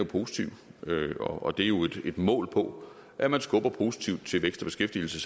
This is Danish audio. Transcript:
positiv og det er jo et mål på at man skubber positivt til vækst og beskæftigelse